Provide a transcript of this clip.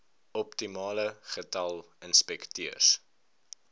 optimale getal inspekteurs